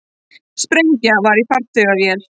Sprengja var í farþegavél